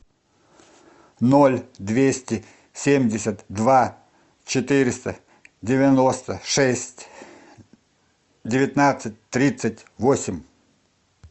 ноль двести семьдесят два четыреста девяносто шесть девятнадцать тридцать восемь